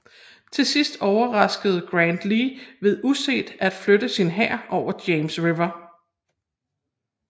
Til sidst overraskede Grant Lee ved uset at flytte sin hær over James River